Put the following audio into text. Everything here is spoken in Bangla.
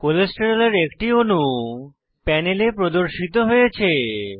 কোলেস্টেরলের একটি অণু প্যানেলে প্রদর্শিত হয়েছে